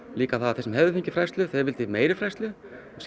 líka það að þeir sem hefðu fengið fræðslu þeir vildu meiri fræðslu